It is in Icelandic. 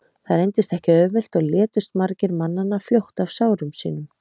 það reyndist ekki auðvelt og létust margir mannanna fljótt af sárum sínum